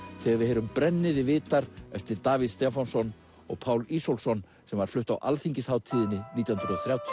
þegar við heyrum brennið þið vitar eftir Davíð Stefánsson og Pál Ísólfsson sem var flutt á alþingishátíðinni nítján hundruð og þrjátíu